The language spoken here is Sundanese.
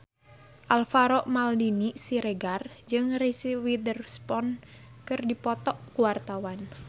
Alvaro Maldini Siregar jeung Reese Witherspoon keur dipoto ku wartawan